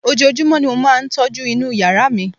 ojojúmọ́ ni mo máà ń tọ́jú inú yàrá mi